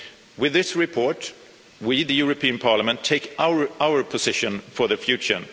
With this report we, the European Parliament, take our position for the future.